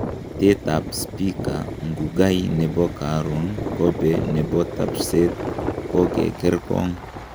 Etet ap spika Ndugai nepo karon ,kope nepo tapshset kokerkerkong